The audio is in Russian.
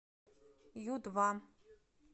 ю два